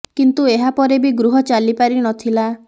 କିନ୍ତୁ ଏହା ପରେ ବି ଗୃହ ଚାଲି ପାରି ନ ଥିଲା